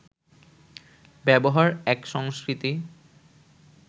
ব্যবহার এক সংস্কৃতি